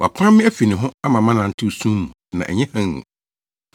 Wapam me afi ne ho ama manantew sum mu na ɛnyɛ hann mu;